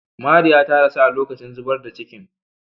Mariya ta rasu a lokacin zubar da cikin.